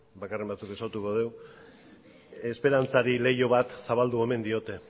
bakarren batzuk ezagutuko dugu esperantzari leiho bat zabaldu omen diote